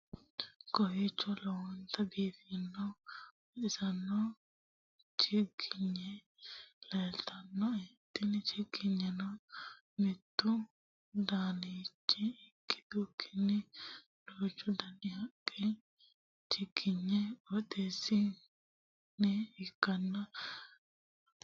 Kowiicho lowonta biiffannona baxissano chiggigne leelitannoe tini chiggigneno mittu danita ikkitukkini duuchu dani haqqe chiggigne qixeesinoniha ikkanna danaseno lowonta haanjidhino